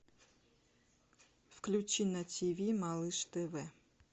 включи на тв малыш тв